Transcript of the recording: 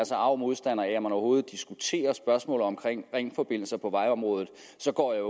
så arg modstander af at man overhovedet diskuterer spørgsmålet om ringforbindelser på vejområdet så går jeg